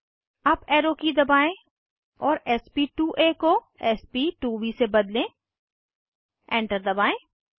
up arrow की दबाएं और sp2आ को sp2ब से बदलें एंटर दबाएं